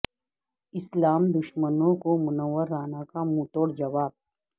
اسلام دشمنوں کو منور رانا کا منھ تو ڑ جواب